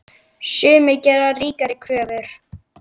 Mig vantar ekkert, svaraði Ellen.